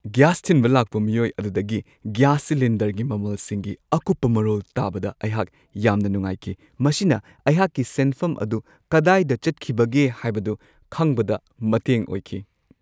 Gas ꯊꯤꯟꯕ ꯂꯥꯛꯄ ꯃꯤꯑꯣꯏ ꯑꯗꯨꯗꯒꯤ ꯒ꯭ꯌꯥꯁ ꯁꯤꯂꯤꯟꯗꯔꯒꯤ ꯃꯃꯜꯁꯤꯡꯒꯤ ꯑꯀꯨꯞꯄ ꯃꯔꯣꯜ ꯇꯥꯕꯗ ꯑꯩꯍꯥꯛ ꯌꯥꯝꯅ ꯅꯨꯡꯉꯥꯏꯈꯤ ꯫ ꯃꯁꯤꯅ ꯑꯩꯍꯥꯛꯀꯤ ꯁꯦꯟꯐꯝ ꯑꯗꯨ ꯀꯗꯥꯏꯗ ꯆꯠꯈꯤꯕꯒꯦ ꯍꯥꯏꯕꯗꯨ ꯈꯪꯕꯗ ꯃꯇꯦꯡ ꯑꯣꯏꯈꯤ ꯫